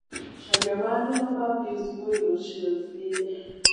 caria maanĩrĩra ma pius mũirũ sirius-inĩ